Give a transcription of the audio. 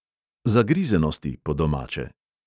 Zagrizenosti, po domače.